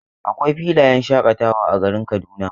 Akwai filayen shaƙatawa a garin Kaduna.